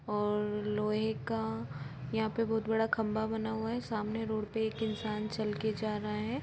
और लोहे का यहां पे एक बहुत बड़ा खंभा बना हुआ हैं और सामने रोड पे एक इंसान चल के जा रहा हैं।